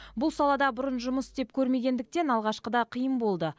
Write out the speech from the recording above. бұл салада бұрын жұмыс істеп көрмегендіктен алғашқыда қиын болды